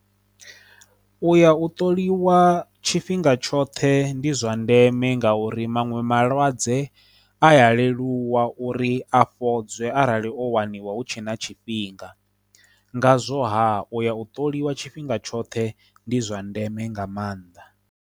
U ya u ṱoliwa tshifhinga tshoṱhe ndi zwa ndeme nga uri maṅwe malwadze a ya leluwa uri a fhodza he arali o waniwa hu tshe na tshifhinga ngazwo ha uya u ṱoliwa tshifhinga tshoṱhe ndi zwa ndeme nga maanḓa.